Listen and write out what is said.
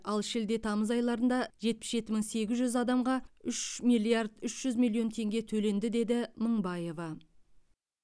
ал шілде тамыз айларында жетпіс жеті мың сегіз жүз адамға үш миллиард үш жүз миллион теңге төленді деді мыңбаев